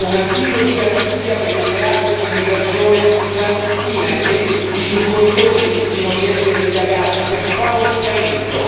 un avviso di garanzia per il reato di immigrazione clandestina e che i soccorritori rischino di essere indagati per favoreggiamento.